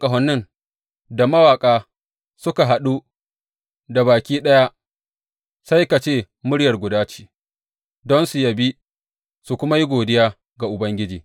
Masu busan ƙahonin da mawaƙa suka haɗu da baki ɗaya sai ka ce murya guda ce, don su yabi su kuma yi godiya ga Ubangiji.